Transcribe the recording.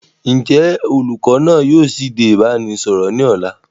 Ǹ jẹ́ olùkọ́ náa ni yìí ó sì dé ìbánisọọ̀rọ̀ ni ọ̀la?